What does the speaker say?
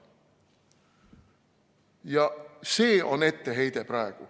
Ja see on etteheide.